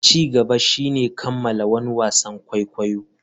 Ci gaba shine kammala wani wasan kwaikwayo.